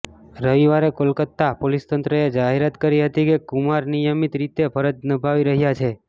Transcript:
રવિવારે કોલકાતા પોલીસ તંત્રએ જાહેરાત કરી હતી કે કુમાર નિયમિત રીતે ફરજ નિભાવી રહ્યા છે